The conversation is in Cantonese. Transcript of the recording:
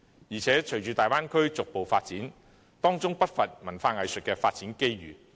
而且，隨着大灣區逐步發展，當中不乏文化藝術的發展機遇。